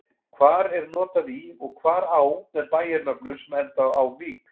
Hvar er notað í og hvar á með bæjarnöfnum sem enda á-vík?